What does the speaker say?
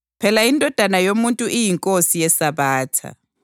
Phela iNdodana yoMuntu iyiNkosi yeSabatha.”